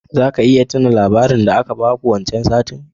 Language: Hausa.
Zaka iya tuna labarin da aka baku wancan satin?